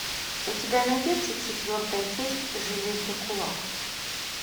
у тебя найдется четвертая часть железный кулак